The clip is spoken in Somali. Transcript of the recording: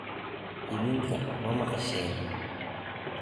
Idhinkaa mamaqasheyn.